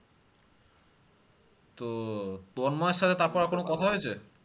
তো তন্ময়ের সাথে তারপরে হয়েছে